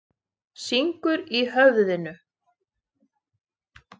Syngur í höfðinu.